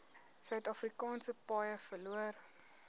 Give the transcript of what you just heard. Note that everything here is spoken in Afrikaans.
suidafrikaanse paaie verloor